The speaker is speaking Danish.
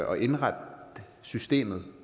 og indrette systemet